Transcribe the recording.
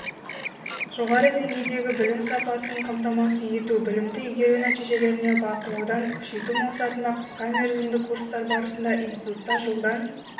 жоғары деңгейдегі білім сапасын қамтамасыз ету білімді игеру нәтижелеріне бақылауды күшейту мақсатында қысқамерзімді курстар барысында институтта жылдан